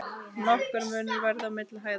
Nokkur munur verði milli hæða.